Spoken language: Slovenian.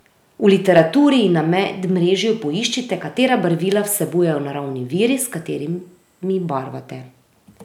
V literaturi in na medmrežju poiščite, katera barvila vsebujejo naravni viri, s katerimi barvate.